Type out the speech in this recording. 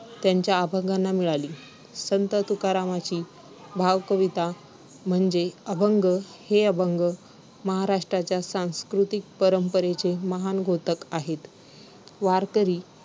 त्यांच्या अभंगांना मिळाली. संत तुकारामांची भावकविता म्हणजे अभंग, हे अभंग महाराष्ट्राच्या सांस्कृतिक परंपरेचे महान द्योतक आहेत. वारकरी,